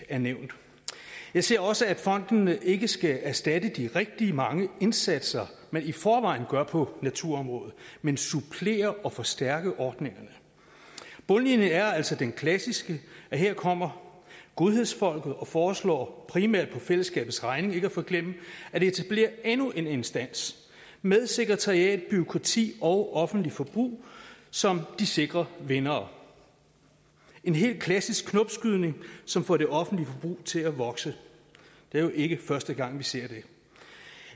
er nævnt jeg ser også at fonden ikke skal erstatte de rigtig mange indsatser man i forvejen gør på naturområdet men supplere og forstærke ordningerne bundlinjen er altså den klassiske her kommer godhedsfolket og foreslår primært på fællesskabets regning ikke at forglemme at etablere endnu en instans med sekretariat bureaukrati og offentligt forbrug som de sikre vindere en helt klassisk knopskydning som får det offentlige forbrug til at vokse det er jo ikke første gang vi ser det